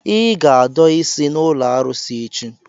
Ị ga-adọ isi n'ụlọ arụsị echi!